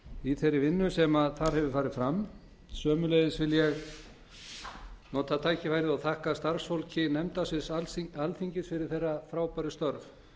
í þeirri vinnu sem fram hefur farið sömuleiðis vil ég nota tækifærið og þakka starfsfólki nefndasviðs alþingis fyrir þeirra frábæru störf